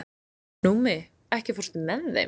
Númi, ekki fórstu með þeim?